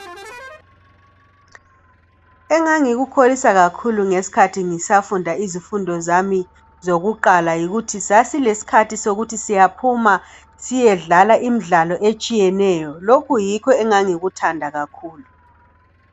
Engangikukholisa kakhulu ngeskhathi ngisafunda izifundo zami zokuqala yikuthi sasilesikhathi sokuthi siyaphuma, siyedlala imidlalo etshiyeneyo. Lokhu yikho engangikuthanda kakhulu.